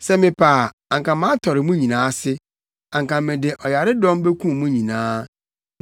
Sɛ mepɛ a anka matɔre mo nyinaa ase, anka mede ɔyaredɔm bekum mo nyinaa.